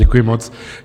Děkuji moc.